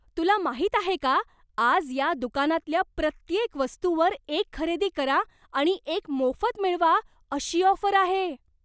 तुला माहीत आहे का, आज या दुकानातल्या प्रत्येक वस्तूवर एक खरेदी करा, आणि एक मोफत मिळवा अशी ऑफर आहे?